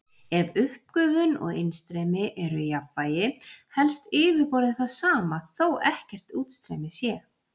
Ef uppgufun og innstreymi eru í jafnvægi helst yfirborðið það sama þó ekkert útstreymi sé.